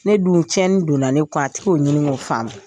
Ne dun tiɲɛni donna ne kun a tik'o ɲini k'o faamu.